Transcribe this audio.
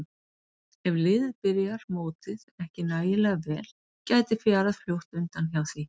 Ef liðið byrjar mótið ekki nægilega vel gæti fjarað fljótt undan hjá því.